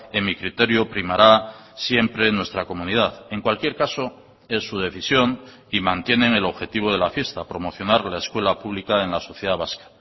en mi criterio primará siempre nuestra comunidad en cualquier caso es su decisión y mantienen el objetivo de la fiesta promocionar la escuela pública en la sociedad vasca